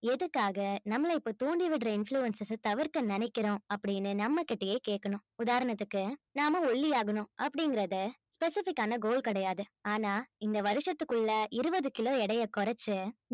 எதுக்காக நம்மளை இப்போ தூண்டி விடுற influences அ தவிர்க்க நினைக்கிறோம் அப்படீன்னு நம்மகிட்டயே கேட்கணும் உதாரணத்துக்கு நாம ஒல்லியாகணும் அப்படிங்கறது specific ஆன goal கிடையாது ஆனா இந்த வருஷத்துக்குள்ள இருபது கிலோ எடையை குறைச்சு